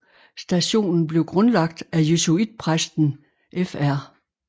Stationen blev grundlagt af jesuitpræsten Fr